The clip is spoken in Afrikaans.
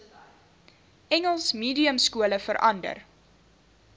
engels mediumskole verander